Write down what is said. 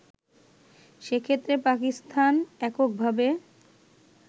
সেক্ষেত্রে পাকিস্তান এককভাবে